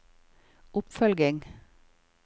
oppfølging